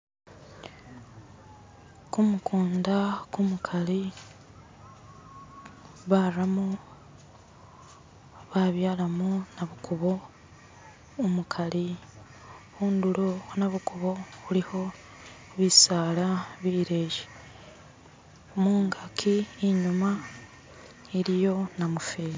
khumukunda khumukhali baramo babyalamo nabukubo umukhali khundulo khonabukubo khulikho bisaala bileyi mungaki inyuma iliyo namufeli